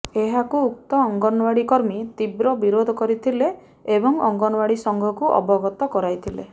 ଏହାକୁ ଉକ୍ତ ଅଙ୍ଗନୱାଡ଼ି କର୍ମୀ ତୀବ୍ର ବିରୋଧ କରିଥିଲେ ଏବଂ ଅଙ୍ଗନୱାଡ଼ି ସଂଘକୁ ଅବଗତ କରାଇଥିଲେ